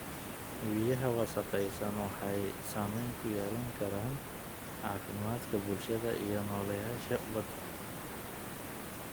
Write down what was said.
Biyaha wasakhaysan waxay saameyn ku yeelan karaan caafimaadka bulshada iyo nooleyaasha badda.